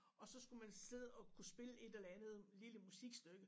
Og så skulle man sidde og kunne spille et eller andet lille musikstykke